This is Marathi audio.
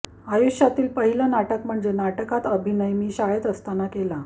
आयुष्यातील पहिलं नाटक म्हणजे नाटकात अभिनय मी शाळेत असताना केला